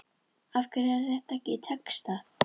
Af hverju er þetta ekki textað?